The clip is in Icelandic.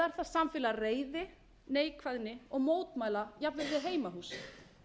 samfélag reiði neikvæðni og mótmæla jafnvel við heimahús þrátt fyrir